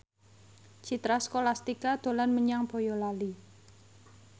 Citra Scholastika dolan menyang Boyolali